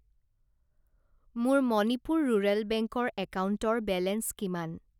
মোৰ Manipur rural bank ৰ একাউণ্টৰ বেলেঞ্চ কিমান?